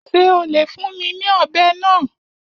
Ṣé o lè fún mi ní ọ̀bẹ náà?